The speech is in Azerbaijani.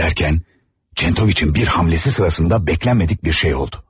Derkən, Çentoviç'in bir hamlesi sırasında bəklənmədik bir şey oldu.